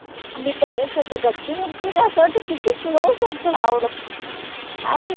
आणि terrace वरती गच्ची वरती न असं वाट्ट किती close वट्ट I